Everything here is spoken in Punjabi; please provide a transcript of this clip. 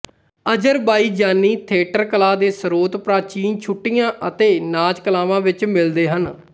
ਅਜ਼ਰਬਾਈਜਾਨੀ ਥੀਏਟਰ ਕਲਾ ਦੇ ਸਰੋਤ ਪ੍ਰਾਚੀਨ ਛੁੱਟੀਆਂ ਅਤੇ ਨਾਚ ਕਲਾਵਾਂ ਵਿੱਚ ਮਿਲਦੇ ਹਨ